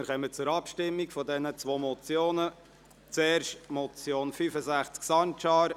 Wir kommen zu den Abstimmungen, zuerst betreffend die Motion Sancar, Traktandum 65.